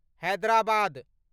Hyderabad